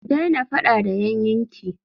Ki daina faɗa da yannin ki!